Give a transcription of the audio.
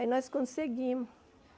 Aí nós conseguimos.